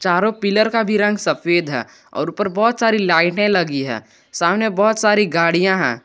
चारों पिलर का भी रंग सफेद है और ऊपर बहोत सारी लाइटें लगी है सामने बहोत सारी गाड़ियां हैं।